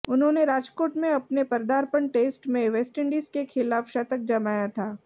उन्होंने राजकोट में अपने पदार्पण टेस्ट में वेस्टइंडीज के खिलाफ शतक जमाया था